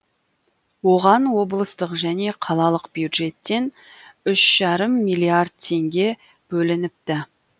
оған облыстық және қалалық бюджеттен үш жарым миллиард теңге бөлініпті